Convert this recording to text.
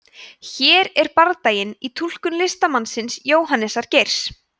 hér er bardaginn í túlkun listamannsins jóhannesar geirs